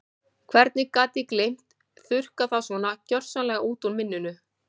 Hvernig gat ég gleymt, þurrkað það svona gjörsamlega út úr minninu?